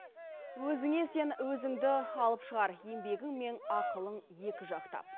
өзіңе сен өзіңді алып шығар еңбегің мен ақылың екіжақтап